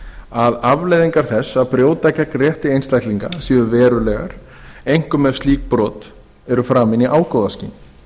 að afleiðingar þess að brjóta gegn rétti einstaklinga séu verulegar einkum ef slík brot eru framin í ágóðaskyni